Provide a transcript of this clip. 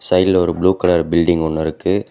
சைடுல ஒரு blue colour building ஒன்னு இருக்கு.